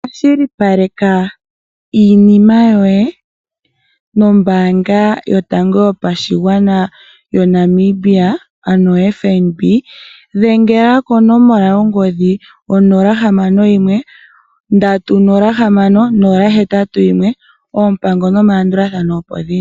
Kwashilipaleka iinima yoye nombaanga yotango yopashigwana yoNamibia ano oFNB. Dhengela konomola yongodhi onola hamano yimwe ndatu nola hamano nola hetatu yimwe oompango nomalandulathano opo dhili.